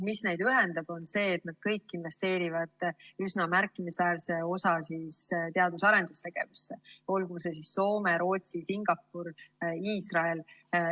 Neid ühendab see, et nad kõik investeerivad üsna märkimisväärse osa teadus‑ ja arendustegevusse, olgu see Soome, Rootsi, Singapur, Iisrael.